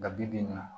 Nka bi bi in na